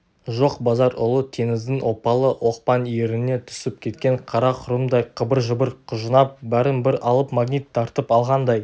жоқ базар ұлы теңіздің оппалы-оқпан иіріміне түсіп кеткен қара құрымдай қыбыр-жыбыр құжынап бәрін бір алып магнит тартып алғандай